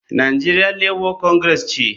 Nigeria Labour Congress ce.